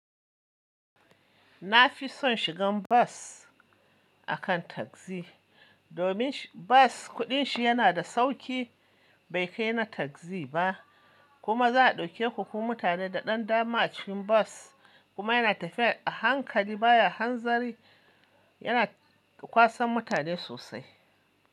Na fi son shigan bus akan tagzi, domin bas kuɗin shi yana da sauƙi bai kai na taxi ba, kuma za a ɗauke ku kuma mutane da ɗan dama a cikin bus kuma yana tafiya a hankali baya hanzari yana kwasan mutane sosai.